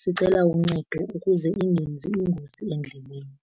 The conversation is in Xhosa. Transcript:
sicela uncedo ukuze ingenzi ingozi endleleni.